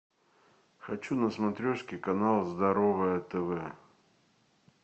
хочу на смотрешке канал здоровое тв